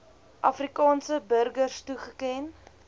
afrikaanse burgers toegeken